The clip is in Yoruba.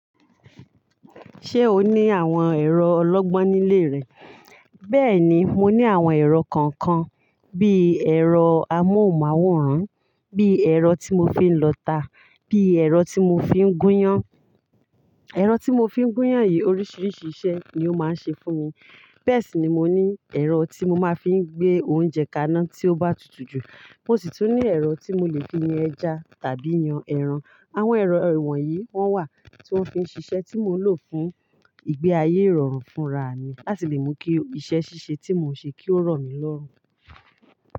Ṣé o ní àwọn ẹ̀rọ ọlọ́gbọ́n nílé rẹ? Bẹ́ẹ̀ni, mo ní àwọn ẹ̀rọ kọ̀ọ̀kan, bí ẹ̀rọ amóhùnmáwòrán, bí ẹ̀rọ tí mo fi ń lọta, bí ẹ̀rọ tí mo fi ń gúnyán. Ẹ̀rọ tí mo fi ń gúnyán yìí oríṣiríṣi iṣẹ́ ni ó máa ń ṣe fún mi. Bẹ́ẹ̀ sì ni mo ní ẹ̀rọ tí mo máa fi ń gbé oúnjẹ kaná tí ó bá tutù jù. Mo sì tún ní ẹ̀rọ tí mo lè fi yan ẹja tàbí yan ẹran. Àwọn ẹ̀rọ ìwọ̀n yìí wọ́n wà tí wọ́n fi ń ṣiṣẹ́ tí mo lò fún ìgbé ayé ìrọ̀rùn fúnra mi láti lè mú kí iṣẹ́ ṣíṣe tí mò ń ṣe kí ó rọ̀ mí lọ́rùn.